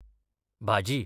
भाजी